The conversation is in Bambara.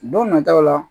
Don nataw la